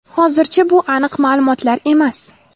Hozircha bu aniq ma’lumotlar emas.